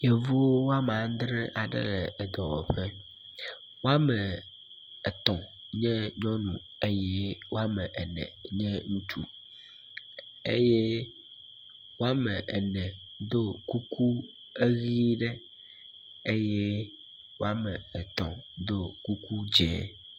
Yevu woame andre le edɔwɔƒe, woame etɔ̃ nye nyɔnu eye woame ene nye ŋutsu eye woame ene do kuku eʋi ɖe eye woame etɔ̃ do kuku dzɛ.